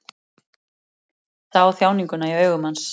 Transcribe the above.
Sá þjáninguna í augum hans.